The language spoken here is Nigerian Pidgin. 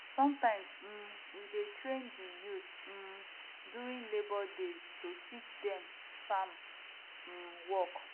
sometimes um we dey train di youth um during labour days to teach dem farm um work